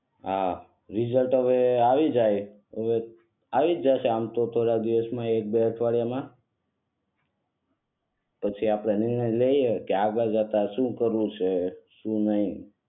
હા રીઝલ્ટ હવે આવી જાય આવીજ જશે આમ તો થોડા દિવસ એક બે અઠવાડિયા માં પછી આપણે નિર્ણય લઈએ કે આગળ જતા શું કરવું છે શું નહીં